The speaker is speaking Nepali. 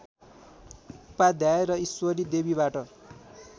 उपाध्याय र ईश्वरी देवीबाट